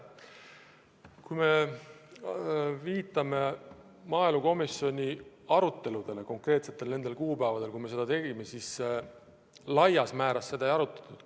Kui me mõtleme maaelukomisjoni aruteludele nendel konkreetsetel kuupäevadel, kui me neid tegime, siis laias laastus seda teemat ei arutatud.